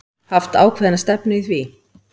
Haft ákveðna stefnu í því?